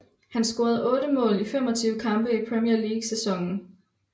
Han scorede otte mål i 25 kampe i Premier League i sæsonen